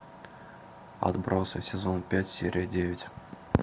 отбросы сезон пять серия девять